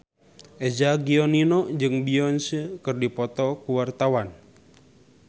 Eza Gionino jeung Beyonce keur dipoto ku wartawan